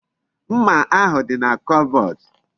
Mma ahu di na kobodu